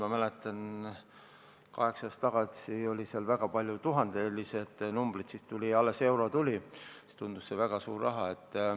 Ma mäletan, kaheksa aastat tagasi oli väga palju tuhande euro suuruseid summasid, siis oli euro alles tulnud ja see tundus väga suure rahana.